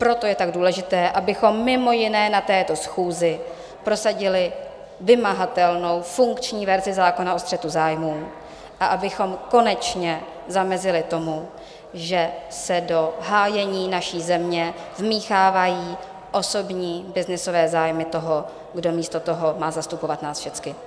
Proto je tak důležité, abychom mimo jiné na této schůzi prosadili vymahatelnou funkční verzi zákona o střetu zájmů a abychom konečně zamezili tomu, že se do hájení naší země vmíchávají osobní byznysové zájmy toho, kdo místo toho má zastupovat nás všechny.